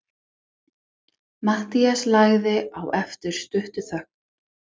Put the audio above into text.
Matthías lagði á eftir stutta þögn.